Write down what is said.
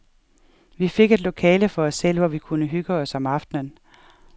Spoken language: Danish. Vi fik et lokale for os selv, hvor vi kunne hygge os om aftenen.